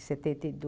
setenta e